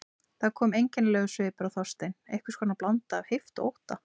Það kom einkennilegur svipur á Þorstein, einhvers konar blanda af heift og ótta.